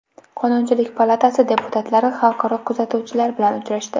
Qonunchilik palatasi deputatlari xalqaro kuzatuvchilar bilan uchrashdi.